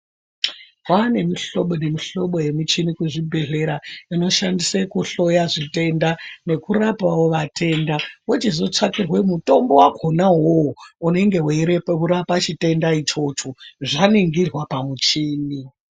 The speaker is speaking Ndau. Kwaane mihlobo nemihlobo yemuchini kuzvibhedhlera inoshandise kuhloya zvitenda nekurapawo vatenda. Wochizotsvakirwe mutombo wakona uwowo unenge weirapa chitenda ichicho, zvaningirwa pamuchini.